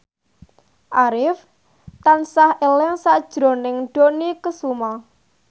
Arif tansah eling sakjroning Dony Kesuma